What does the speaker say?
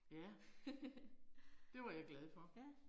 Ja. Det var jeg glad for